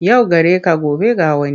Yau gare ka gobe ga wani.